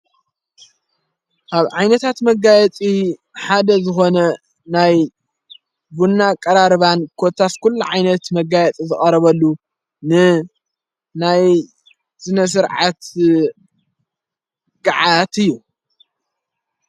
ኣብ ዓይነታት መጋያፂ ሓደ ዝኾነ ናይ ቡና ቀራርባን ኰታስኲሉ ዓይነት መጋያጡ ዘቐረበሉ ን ናይ ዘነሥርዐት ግዓት እዩ::